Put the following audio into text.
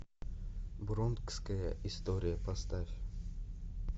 бронкская история поставь